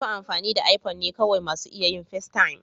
Masu amfani da iPhone ne kawai masu iya yin festaym.